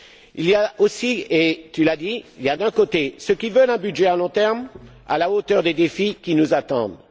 Il y a aussi et tu l'as dit d'un côté ceux qui veulent un budget à long terme à la hauteur des défis qui nous attendent.